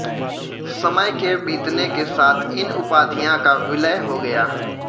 समय के बीतने के साथ इन उपाधियां का विलय हो गया